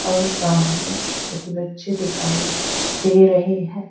और सामने कुछ बच्चे दिखाई दे रहे हैं।